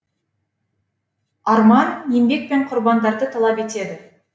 арман еңбек пен құрбандарды талап етеді